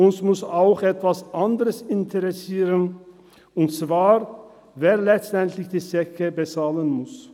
Uns muss auch etwas anderes interessieren und zwar, wer letztendlich die Zeche bezahlen muss.